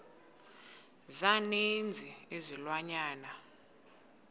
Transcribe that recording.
za ninzi izilwanyana